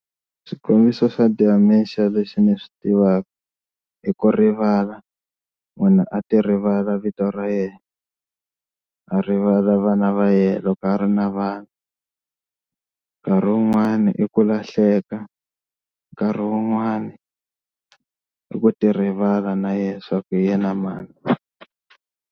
Xikombiso xa dementia lexi ni swi tivaka i ku rivala, munhu a ti rivala vito ra yena a rivala vana va yena loko a ri na vana nkarhi wun'wani i ku lahleka nkarhi wun'wani i ku ti rivala na yena swa ku hi yena mani.